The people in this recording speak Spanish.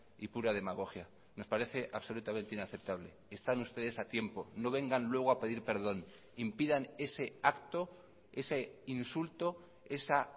y pura demagogia nos parece absolutamente inaceptable están ustedes a tiempo no vengan luego a pedir perdón impidan ese acto ese insulto esa